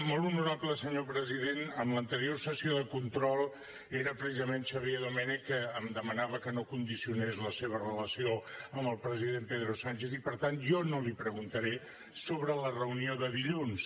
molt honorable senyor president en l’anterior sessió de control era precisament xavier domènech que em demanava que no condicionés la seva relació amb el president pedro sánchez i per tant jo no li preguntaré sobre la reunió de dilluns